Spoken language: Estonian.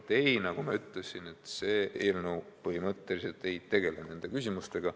Ei, nagu ma ütlesin, see eelnõu põhimõtteliselt ei tegele nende küsimustega.